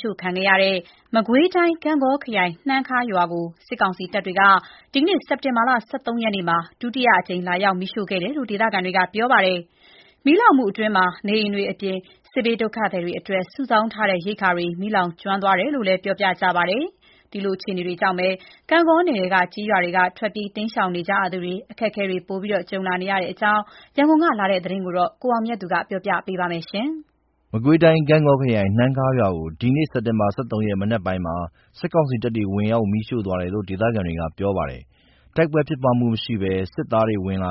ရှို့ခံရတဲ့ မကွေးတိုင်း ဂန့်ဂေါခရိုင် နှမ်းခါးရွာကို စစ်ကောင်စီတပ်တွေက ဒီနေ့ စက်တင်ဘာ ၁၃ ရက်မှာ ဒုတိယအကြိမ် လာရောက်မီးရှို့ခဲ့တယ်လို့ ဒေသခံတွေကပြောပါတယ်။ မီးလောင်မှုအတွင်း နေအိမ်တွေအပြင် စစ်ဘေးဒုက္ခသည်တွေအတွက် စုဆောင်းထားတဲ့ ရိက္ခာတွေ မီးလောင်ကျွမ်းသွားတယ်လို့ ပြောကြပါတယ်။ တဆက်တည်းမှာပဲ ဂန့်ဂေါနယ်ထဲ ကျေးရွာတွေက ထွက်ပြေးနေရသူတွေ အခက်အခဲတွေ ရှိနေပါတယ်။ ဒီအကြောင်းအပြည့်အစုံ ရန်ကုန်ကလာတဲ့ သတင်းကို ကိုအောင်မြတ်သူ ပြောပြပါမယ်။ မကွေးတိုင်း ဂန့်ဂေါခရိုင် နှမ်းခါးရွာကို ဒီနေ့ စက်တင်ဘာ ၁၃ ရက် မနက်ပိုင်းမှာ စစ်ကောင်စီတပ်တွေ ဝင်ရောက် မီးရှို့သွားတယ်လို့ ဒေသခံတွေက ပြောပါတယ်။ တိုက်ပွဲဖြစ်ပွားမှု မရှိဘဲစစ်သားတွေ ဝင်လာ